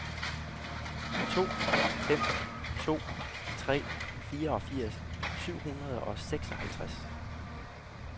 to fem to tre fireogfirs syv hundrede og seksoghalvtreds